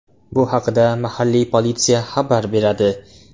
Bu haqda mahalliy politsiya xabar beradi .